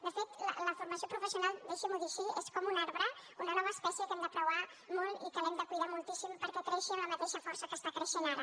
de fet la formació professional deixi m’ho dir així és com un arbre una nova espècie que hem de preuar molt i que hem de cuidar moltíssim perquè creixi amb la mateixa força que està creixent ara